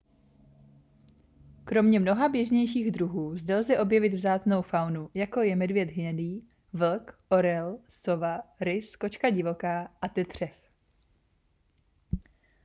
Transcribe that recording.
kromě mnoha běžnějších druhů zde lze objevit vzácnou faunu jako je medvěd hnědý vlk orel sova rys kočka divoká a tetřev